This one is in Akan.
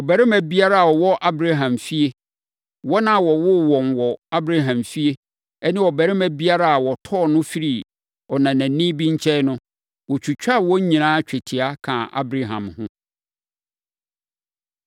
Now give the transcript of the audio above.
Ɔbarima biara a ɔwɔ Abraham fie, wɔn a wɔwoo wɔn wɔ Abraham fie ne ɔbarima biara a wɔtɔɔ no firii ɔnanani bi nkyɛn no, wɔtwitwaa wɔn nyinaa twetia, kaa Abraham ho.